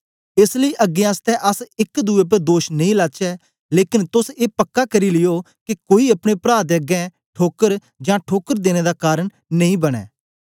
एस लेई अगें आसतै अस एक दुए उपर दोष नेई लाचै लेकन तोस ए पक्का करी लियो के कोई अपने प्रा दे अगें ठोकर जां ठोकर देने दा कारन नेई बनें